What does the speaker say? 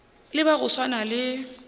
le ba go swana le